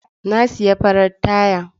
Na sayi farar taya.